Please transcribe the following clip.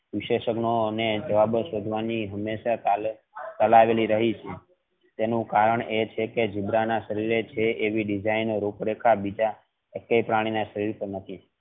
વિશેષણો અને જવાબો શોધવાની તાલાવેલી રહી છે તેનું કારણ એ છે કે ઝીબ્રા ના શરીરે છે એવી design અને ઉપ રેખા બીજા એકેય પ્રાણી ના શરીર પર નથી.